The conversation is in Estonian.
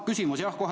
Küsimus, jah, kohe.